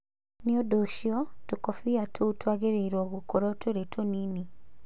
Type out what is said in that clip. Nĩ ũndũ ũcio, tũkũbia tũu twagĩrĩirũo gũkorũo tũrĩ tũnini.